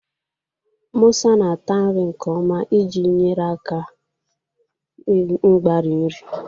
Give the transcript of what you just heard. Musa na-ata nri nke ọma iji nyere aka mgbari nri.